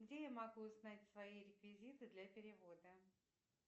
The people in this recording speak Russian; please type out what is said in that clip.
где я могу узнать свои реквизиты для перевода